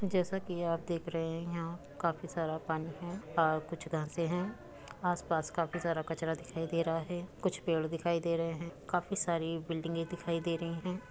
जैसा कि आप देख रहे हैं यहां कफी सारा पानी है और कुछ घासे हैं। आसपास काफी सारा कचरा दिखाई दे रहा हैं कुछ पेड़ दिखाई दे रहे हैं। काफी सारी बिल्डिगे दिखाई दे रही हैं।